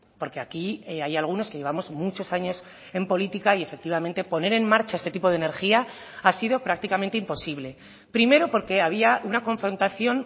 porque aquí hay algunos que llevamos muchos años en política y efectivamente poner en marcha este tipo de energía ha sido prácticamente imposible primero porque había una confrontación